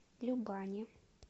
любани